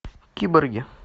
киборги